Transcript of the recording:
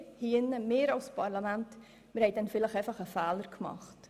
Wir hier als Parlament haben damals vielleicht einen Fehler gemacht.